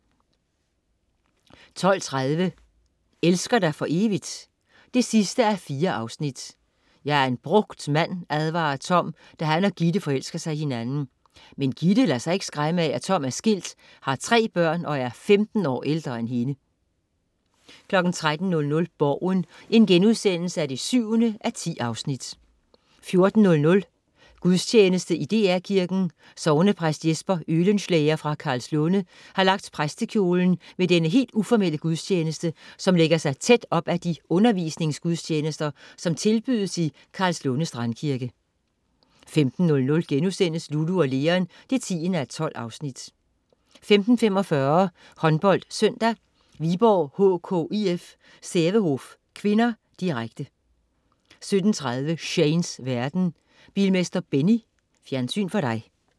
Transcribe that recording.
12.30 Elsker dig for evigt? 4:4. "Jeg er en brugt mand", advarer Tom, da han og Gitte forelsker sig i hinanden. Men Gitte lader sig ikke skræmme af, at Tom er skilt, har tre børn og er 15 år ældre end hende 13.00 Borgen 7:10* 14.00 Gudstjeneste i DR Kirken. Sognepræst Jesper Oehlenschläger fra Karlslunde har lagt præstekjolen ved denne helt uformelle gudstjeneste, som lægger sig tæt op ad de undervisningsgudstjenester, som tilbydes i Karlslunde Strandkirke 15.00 Lulu & Leon 10:12* 15.45 HåndboldSøndag: Viborg HK-IK Sävehof (k), direkte 17.30 Shanes verden. Bilmester Benny. Fjernsyn for dig